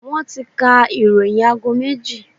Wọ́n ti ka ìròyìn aago méjì.